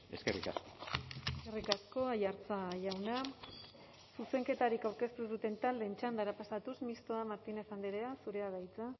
eskerrik asko eskerrik asko aiartza jauna zuzenketarik aurkeztu ez duten taldeen txandara pasatuz mistoa martínez andrea zurea da hitza